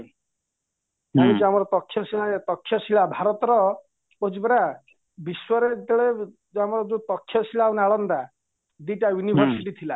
ଜାଣିଛ ଆମର ପକ୍ଷ ଶିଳ ଶିଳା ଭାରତର କହୁଛି ପରା ବିଶ୍ୱରେ ଯେତେବେଳେ ଯୋଉ ଆମର ପକ୍ଷ ଶିଳା ଆଉ ନାଳନ୍ଦା ଦୁଇଟା university ଥିଲା